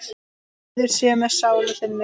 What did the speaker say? Friður sé með sálu þinni.